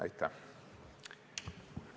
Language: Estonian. Aitäh!